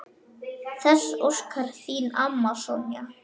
Þess óskar þín amma, Sonja.